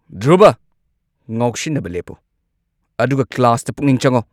ꯙ꯭ꯔꯨꯚ, ꯉꯥꯎꯁꯤꯟꯅꯕ ꯂꯦꯞꯄꯨ ꯑꯗꯨꯒ ꯀ꯭ꯂꯥꯁꯇ ꯄꯨꯛꯅꯤꯡ ꯆꯪꯉꯨ!